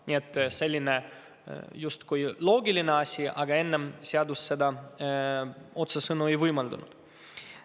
Nii et selline loogiline asi, aga enne seadus seda otsesõnu ei võimaldanud.